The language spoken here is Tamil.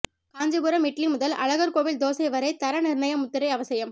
காஞ்சிபுரம் இட்லி முதல் அழகர் கோவில் தோசை வரை தர நிர்ணய முத்திரை அவசியம்